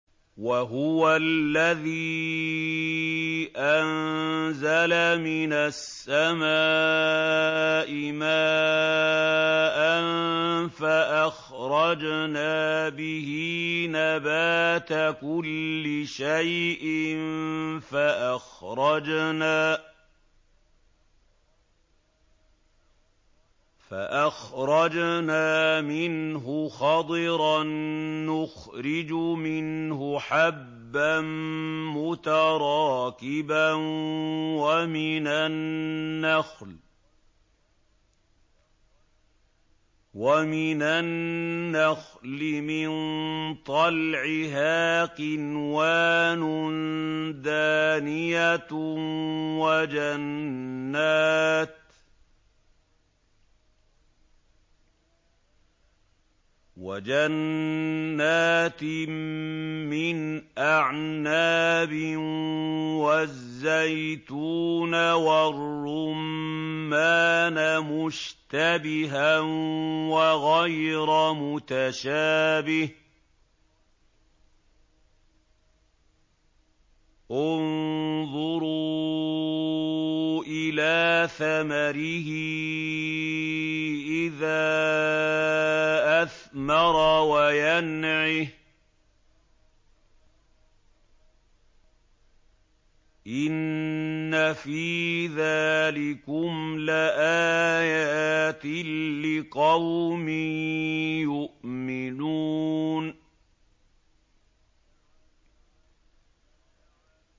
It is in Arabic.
وَهُوَ الَّذِي أَنزَلَ مِنَ السَّمَاءِ مَاءً فَأَخْرَجْنَا بِهِ نَبَاتَ كُلِّ شَيْءٍ فَأَخْرَجْنَا مِنْهُ خَضِرًا نُّخْرِجُ مِنْهُ حَبًّا مُّتَرَاكِبًا وَمِنَ النَّخْلِ مِن طَلْعِهَا قِنْوَانٌ دَانِيَةٌ وَجَنَّاتٍ مِّنْ أَعْنَابٍ وَالزَّيْتُونَ وَالرُّمَّانَ مُشْتَبِهًا وَغَيْرَ مُتَشَابِهٍ ۗ انظُرُوا إِلَىٰ ثَمَرِهِ إِذَا أَثْمَرَ وَيَنْعِهِ ۚ إِنَّ فِي ذَٰلِكُمْ لَآيَاتٍ لِّقَوْمٍ يُؤْمِنُونَ